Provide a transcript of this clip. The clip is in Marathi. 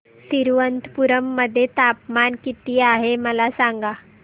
तिरूअनंतपुरम मध्ये तापमान किती आहे मला सांगा